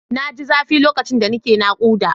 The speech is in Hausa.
Na ji zafi lokacin da nake naƙuda.